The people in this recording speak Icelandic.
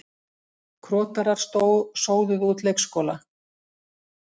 Krotarar sóðuðu út leikskóla